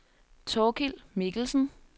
Thorkild Mikkelsen